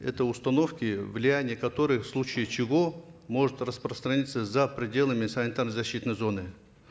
это установки влияние которых в случае чего может распространиться за пределами санитарно защитной зоны